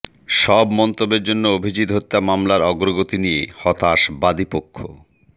সব মন্তব্যের জন্য অভিজিৎ হত্যা মামলার অগ্রগতি নিয়ে হতাশ বাদীপক্ষ